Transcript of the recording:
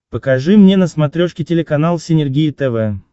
покажи мне на смотрешке телеканал синергия тв